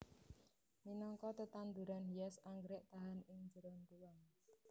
Minangka tetanduran hias anggrèk tahan ing njeron ruwang